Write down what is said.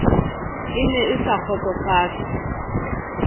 e ne e sa kgotsofatse